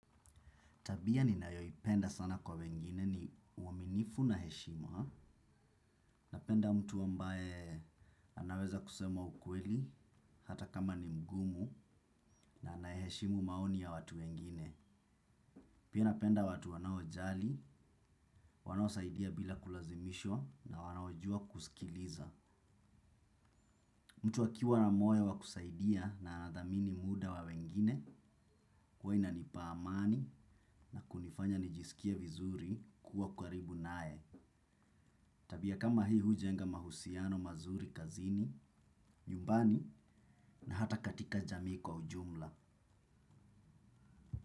Tabia ninayoipenda sana kwa wengine ni uaminifu na heshima. Napenda mtu ambaye anaweza kusema ukweli hata kama ni mgumu na anaheshimu maoni ya watu wengine. Pia napenda watu wanaojali, wanaosaidia bila kulazimishwa na wanaojua kusikiliza. Mtu akiwa na moyo wa kusaidia na anathamini muda wa wengine huwa inanipa amani na kunifanya nijisikie vizuri kuwa karibu naye. Tabia kama hii hujenga mahusiano mazuri kazini, nyumbani na hata katika jamii kwa ujumla.